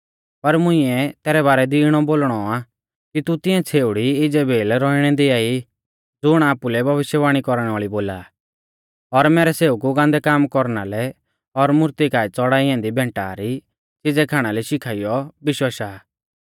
पर मुंइऐ तैरै बारै दी इणौ बोलणौ आ कि तू तिऐं छ़ेउड़ी इज़ेबेल रौअणै दिआई ज़ुण आपुलै भविष्यवाणी कौरणै वाल़ी बोला आ और मैरै सेवकु गान्दै काम कौरना लै और मूर्ती काऐ च़ड़ाई ऐन्दी भैंटा री च़िज़ै खाणा लै शिखाइयौ बिश्वाशा आ